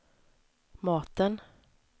maten